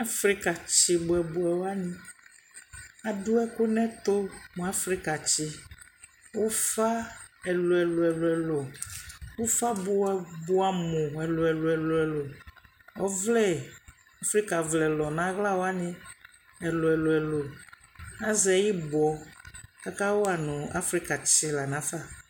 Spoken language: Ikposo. Aƒrika tsi bʋɛ bʋɛ wani adʋbɛkʋ nʋ ɛtʋ mʋ Aƒrika tsi wani, ʋƒa ɛlʋɛlʋ ʋƒa bʋ bʋamʋ ɛlʋɛlʋ, ɔvlɛ Aƒrika vlɛ lʋ nʋ ala wani ɛlʋɛlʋ, azɛ ibɔ kʋ aka wani Afrika tsi lanʋ aƒa